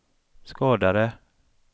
skadade